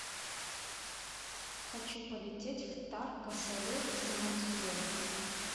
хочу полететь в тарко сале из мацуэ